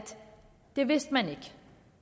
det vidste man ikke